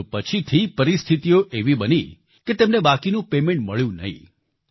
પરંતુ પછીથી પરિસ્થિતીઓ એવી બની કે તેમને બાકીનું પેમેન્ટ મળ્યું નહીં